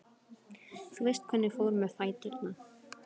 Þú veist hvernig fór með fæturna.